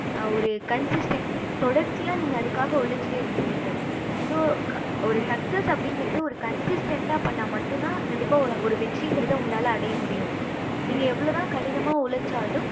ஒரு தொடர்ச்சி நீங்க அதுக்கு உலச்சிட்டே இருந்திருப்பிங்க so ஒரு success அப்படிங்கறது ஒரு consistant பண்ண மட்டும் தான் கண்டிப்பா ஒரு வெற்றி இங்கறது கண்டிப்பா அடைய முடியும் நீங்க எவ்வளோ தான் கடினமா உலச்சாலும்